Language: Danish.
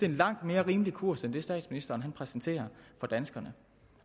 en langt mere rimelig kurs end den statsministeren præsenterer for danskerne